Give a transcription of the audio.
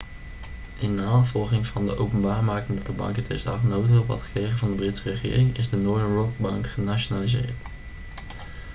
in navolging van de openbaarmaking dat de bank in 2008 noodhulp had gekregen van de britse regering is de northern rock-bank genationaliseerd